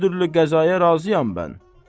Hər türlü qəzaya razıyam mən.